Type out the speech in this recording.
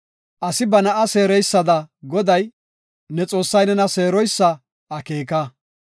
Asi ba na7a seereysada Goday, ne Xoossay nena seeroysa akeeka.